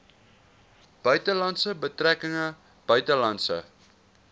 buitelandse betrekkinge buitelandse